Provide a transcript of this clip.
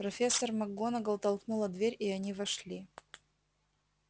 профессор макгонагалл толкнула дверь и они вошли